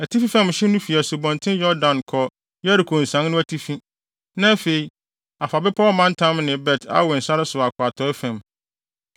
Atifi fam hye no fi Asubɔnten Yordan kɔ Yeriko nsian no atifi, na afei, afa bepɔw mantam ne Bet-Awen sare so akɔ atɔe fam.